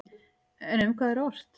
En um hvað er ort?